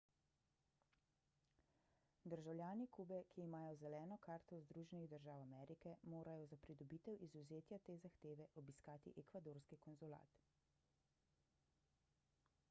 državljani kube ki imajo zeleno karto združenih držav amerike morajo za pridobitev izvzetja te zahteve obiskati ekvadorski konzulat